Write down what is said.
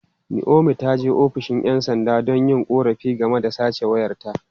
Naomi ta je ofishin ’yan sanda don yin korafi game da sace wayarta.